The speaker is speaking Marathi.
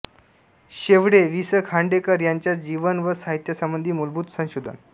शेवडे वि स खांडेकर यांच्या जीवन व साहित्यसंबंधी मूलभूत संशोधन